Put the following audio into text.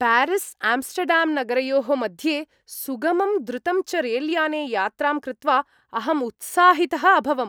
प्यारिस्आम्स्टर्डाम्नगरयोः मध्ये सुगमं द्रुतं च रेलयाने यात्रां कृत्वा अहं उत्साहितः अभवम्।